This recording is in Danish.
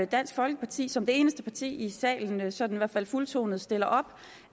dansk folkeparti som det eneste parti i salen sådan i hvert fald fuldtonet stiller op